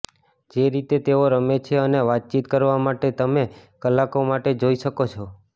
જે રીતે તેઓ રમે છે અને વાતચીત કરવા માટે તમે કલાકો માટે જોઈ શકો છો